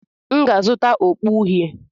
M ga-azụta okpu uhie.